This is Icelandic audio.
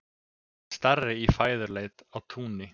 Starri í fæðuleit á túni.